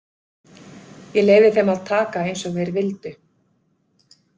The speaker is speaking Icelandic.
Ég leyfði þeim að taka eins og þeir vildu.